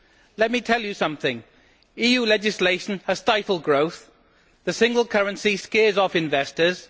Let me tell you something EU legislation has stifled growth, and the single currency scares off investors.